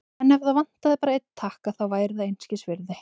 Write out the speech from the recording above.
En ef það vantaði bara einn takka, þá væri það einskisvirði.